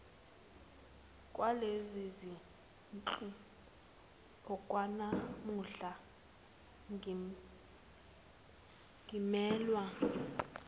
kwalezizindlu okwanamuhla ngimelwe